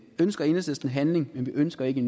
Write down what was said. ønsker enhedslisten handling men vi ønsker ikke